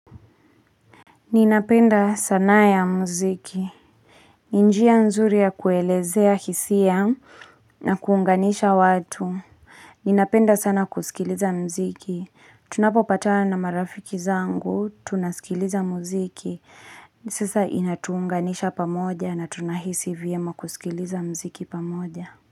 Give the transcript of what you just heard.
Ninapenda sanaa ya mziki. Ni njia nzuri ya kuelezea hisia na kuunganisha watu. Ninapenda sana kusikiliza muziki. Tunapopatana na marafiki zangu, tunasikiliza muziki. Sasa inatuunganisha pamoja na tunahisi vyema kusikiliza mziki pamoja.